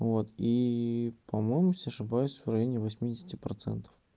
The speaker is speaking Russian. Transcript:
вот и по-моему если не ошибаюсь в районе восьмидесяти процентов